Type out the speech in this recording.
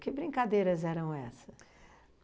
Que brincadeiras eram essas?